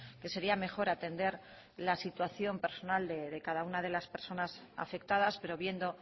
que sería mejor atender la situación personal de cada una de las personas afectadas pero viendo